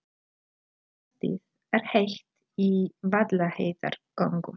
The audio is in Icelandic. Loftið er heitt í Vaðlaheiðargöngum.